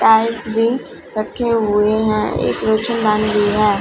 Tiles भी रखे हुए है एक रोसनदान भी है।